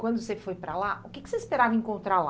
Quando você foi para lá, o que que você esperava encontrar lá?